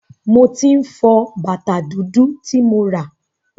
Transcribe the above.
Mo tí ń fọ bàtá dúdú ti mo rà.